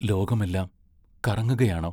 ലോകമെല്ലാം കറങ്ങുകയാണോ?